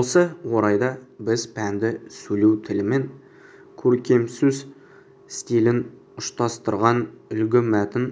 осы орайда біз пәнді сөйлеу тілі мен көркемсөз стилін ұштастырған үлгі мәтін